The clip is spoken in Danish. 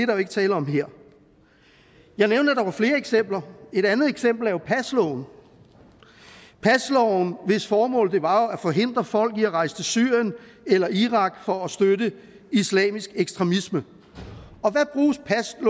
jo ikke tale om her jeg nævnte at der var flere eksempler et andet eksempel er jo pasloven pasloven hvis formål var at forhindre folk i at rejse til syrien eller irak for at støtte islamisk ekstremisme